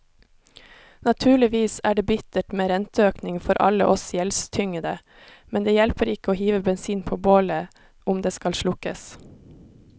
Naturligvis er det bittert med renteøkning for alle oss gjeldstyngede, men det hjelper ikke å hive bensin på bålet om det skal slukkes.